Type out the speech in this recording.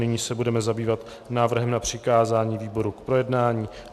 Nyní se budeme zabývat návrhem na přikázání výborům k projednání.